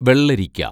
വെള്ളരിക്ക